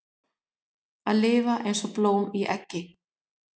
Að lifa eins og blóm í eggi